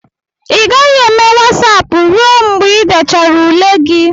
ị gaghị eme Wasapụ ruo mgbe ị dechara ule gị